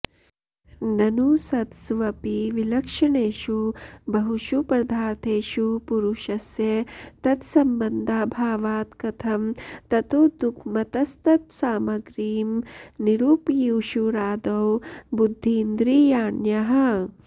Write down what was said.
ननु सत्स्वपि विलक्षणेषु बहुषु पदार्थेषु पुरुषस्य तत्सम्बन्धाभावात् कथं ततो दुःखमतस्तत्सामग्रीं निरूपयिषुरादौ बुद्धीन्द्रियाण्याह